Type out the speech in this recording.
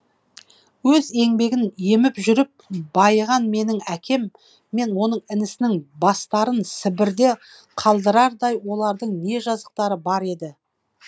өз еңбегін еміп жүріп байыған менің әкем мен оның інісінің бастарын сібірде қалдырардай олардың не жазықтары бар еді